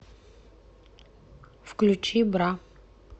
включи бра